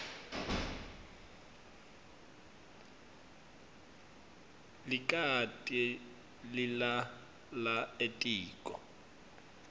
likati lilala etiko